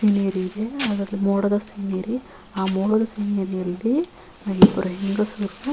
scenery ಇದೆ ಅದರ ಮೋಡದ ಸೀನರಿ ಆ ಮೋಡದ ಸೀನರಿ ಯಲ್ಲಿ ಇಬ್ಬರು ಹೆಂಗಸರು--